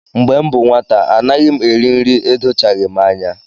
Mgbe m bụ nwata, anaghị m eri nri edochaghị m anya